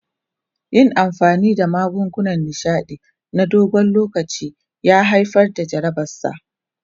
Yin amfani da magungunan nishaɗi na dogon lokaci ya haifar da jarabarsa.